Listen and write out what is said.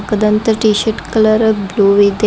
ಕದಂತ T shirt colour blue ಇದೆ.